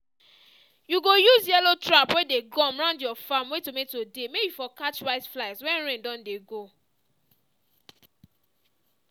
you go use yellow trap weyd ey gum round your farm wey tomato dey may e for catch whiteflies wen rain don dey go